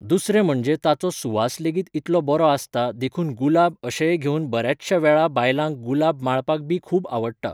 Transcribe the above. दुसरें म्हणजे ताचो सुवास लेगीत इतलो बरो आसता देखून गुलाब अशेय घेवन बऱ्याचश्या वेळा बायलांक गुलाब माळपाक बी खूब आवडटा